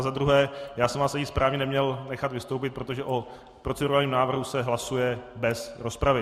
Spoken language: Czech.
A za druhé já jsem vás ani správně neměl nechat vystoupit, protože o procedurálním návrhu se hlasuje bez rozpravy.